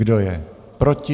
Kdo je proti?